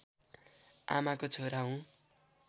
आमाको छोरो हुँ